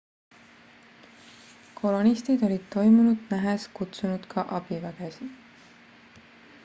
kolonistid olid toimunut nähes kutsunud ka abivägesid